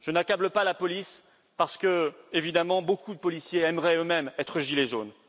Je n'accable pas la police parce que, évidemment, beaucoup de policiers aimeraient eux mêmes être gilet jaune.